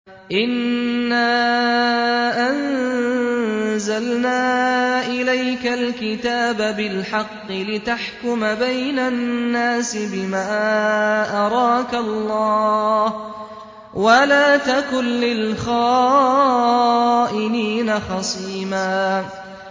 إِنَّا أَنزَلْنَا إِلَيْكَ الْكِتَابَ بِالْحَقِّ لِتَحْكُمَ بَيْنَ النَّاسِ بِمَا أَرَاكَ اللَّهُ ۚ وَلَا تَكُن لِّلْخَائِنِينَ خَصِيمًا